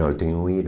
Não, eu tenho uma